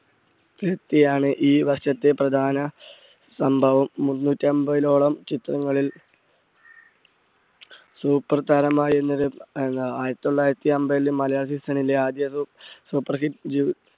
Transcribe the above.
ഈ വർഷത്തെ പ്രധാന സംഭവം. മുന്നൂറ്റമ്പതോളം ചിത്രങ്ങളിൽ super താരമായിരുന്നവർ ആയിരത്തി തൊള്ളായിരത്തി അമ്പതിൽ മലയാള season ലെ ആദ്യ super hit ജു